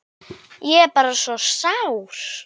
Ég er bara svo sár.